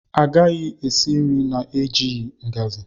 Ị gaghị esi nri na-enweghị ngaji.